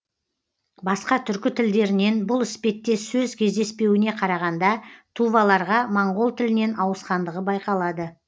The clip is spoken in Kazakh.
басқа түркі тілдерінен бұл іспеттес сөз кездеспеуіне қарағанда туваларға моңғол тілінен ауысқандығы байқалады